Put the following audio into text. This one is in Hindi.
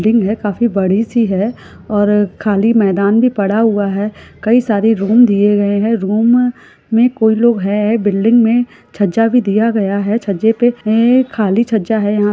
यह काफी बड़ी सी है और खाली मैदान भी पड़ा हुआ है कई सारे रूम दिए गए रूम में कोई लोग है बिल्डिंग में छज्जा भी दिया गया है छज्जे पे ये खाली छज्जा है यहां पे --